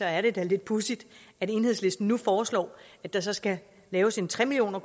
er det da lidt pudsigt at enhedslisten nu foreslår at der så skal laves en tre million